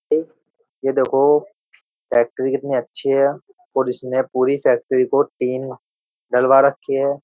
यह देखो फैक्ट्री कितनी अच्छी है और इसने पूरी फैक्ट्री को तीन डलवा रखी है।